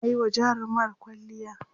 tana Yi wa jarumar kwalliya